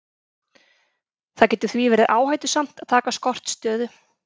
Það getur því verið áhættusamt að taka skortstöðu.